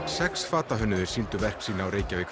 sex fatahönnuðir sýndu verk sín á Reykjavík